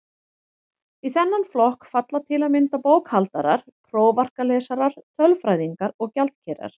Í þennan flokk falla til að mynda bókhaldarar, prófarkalesarar, tölfræðingar og gjaldkerar.